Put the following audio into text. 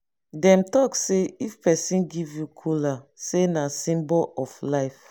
dem talk sey if pesin give you kola sey na symbol of life.